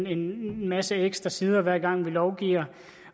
en masse ekstra sider hver gang vi lovgiver